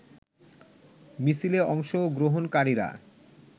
মিছিলে অংশগ্রহনকারীরা